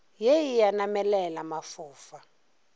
ye e a namelela mafofa